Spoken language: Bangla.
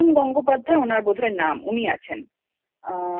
গঙ্গোপাধ্যায় ওনার বোধ হয় নাম উনি আছেন